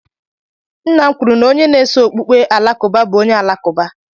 Nna m kwuru na onye na-eso okpukpe Alakụba bụ onye Alakụba.